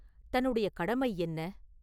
தன்னுடைய கடமை என்ன?